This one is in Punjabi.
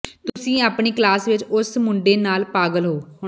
ਤੁਸੀਂ ਆਪਣੀ ਕਲਾਸ ਵਿਚ ਉਸ ਮੁੰਡੇ ਨਾਲ ਪਾਗਲ ਹੋ